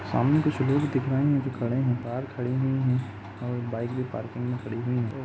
सामने कुछ लोग दिख रहे है जो खड़े है। कार खड़ी हुई है और बाइक भी पार्किंग में खड़ी हुई है।